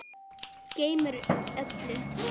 Gleymir öllu.